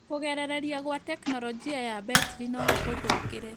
Kũgerereria gwa teknolojia ya mbetiri no gũgũthũkire